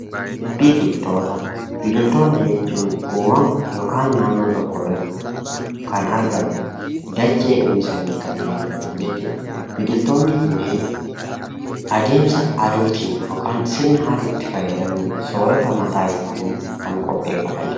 Biqiltoota. Biqiltoota jechuun uumama yokaan naannoo tokko irratti kan argaman, dachee uwwisanii kanneen argaman jechuudha. Biqiltoonni kunneen adeemsa aduutiin yokaan sirna aduutti fayyadamuun soorata mataa isaanii kan qopheeffatanidha.